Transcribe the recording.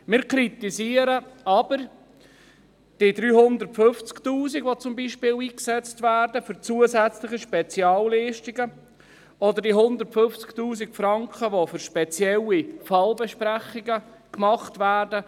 Wir kritisieren aber die 350 000 Franken, die beispielsweise für zusätzliche Spezialleistungen eingesetzt werden, oder die 150 000 Franken, die für spezielle Fallbesprechungen verwendet werden.